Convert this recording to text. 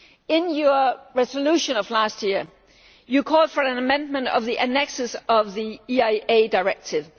In your resolution of last year you called for an amendment of the annexes to the EIA Directive.